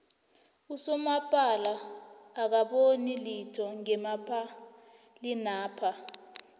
usomapala akaboni litho ngemapalinapha